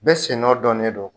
Bɛɛ sennɔ dɔnnen don